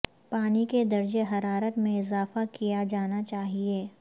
پانی کے درجہ حرارت میں اضافہ کیا جانا چاہیے